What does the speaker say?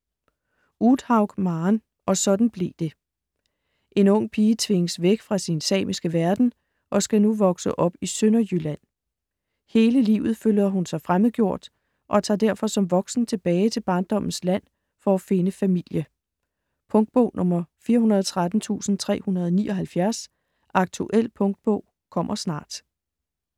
Uthaug, Maren: Og sådan blev det En ung pige tvinges væk fra sin samiske verden og skal nu vokse op i Sønderjylland. Hele livet føler hun sig fremmedgjort og tager derfor som voksen tilbage til barndommens land for at finde familie. Punktbog 413379 Aktuel punktbog - kommer snart. .